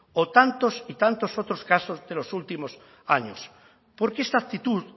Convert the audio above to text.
o tantos y tantos otros casos de los últimos años porque esta actitud